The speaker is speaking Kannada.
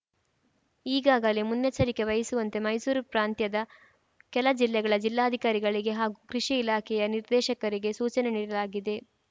ಈಗಾಗಲೇ ಮುನ್ನೆಚ್ಚರಿಕೆ ವಹಿಸುವಂತೆ ಮೈಸೂರು ಪ್ರಾಂತ್ಯದ ಕೆಲ ಜಿಲ್ಲೆಗಳ ಜಿಲ್ಲಾಧಿಕಾರಿಗಳಿಗೆ ಹಾಗೂ ಕೃಷಿ ಇಲಾಖೆಯ ನಿರ್ದೇಶಕರಿಗೆ ಸೂಚನೆ ನೀಡಲಾಗಿದೆ